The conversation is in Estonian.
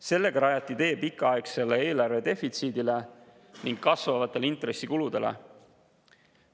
Sellega rajati tee pikaaegsele eelarve defitsiidile ning kasvavatele intressikuludele.